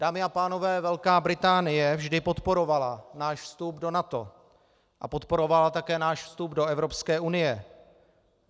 Dámy a pánové, Velká Británie vždy podporovala náš vstup do NATO a podporovala také náš vstup do Evropské unie.